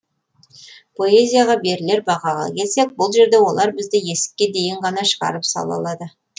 поэзияға берілер бағаға келсек бұл жерде олар бізді есікке дейін ғана шығарып сала алады